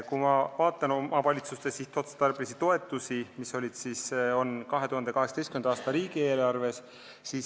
Ma vaatan omavalitsuste sihtotstarbelisi toetusi, mis on 2018. aasta riigieelarves.